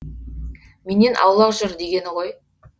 менен аулақ жүр дегені ғой